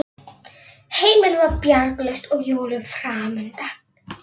Amma segir að það sé nú ekkert undarlegt.